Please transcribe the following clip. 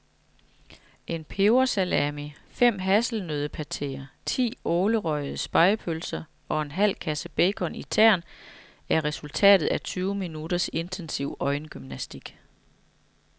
En pebersalami, fem hasselnøddepateer, ti ålerøgede spegepølser og en halv kasse bacon i tern er resultatet af tyve minutters intensiv øjengymnastik.